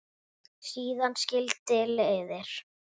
Síðan skildi leiðir.